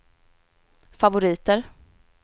favoriter